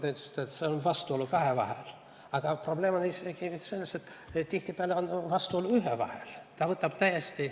Te ütlesite, et siin on vastuolu kahe vahel, aga probleem on isegi selles, et tihtipeale on vastuolu ühe vahel.